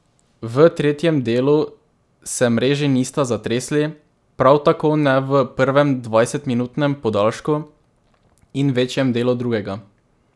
V tretjem delu se mreži nista zatresli, prav tako ne v prvem dvajsetminutnem podaljšku in večjem delu drugega.